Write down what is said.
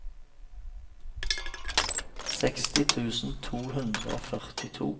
sekstien tusen to hundre og førtito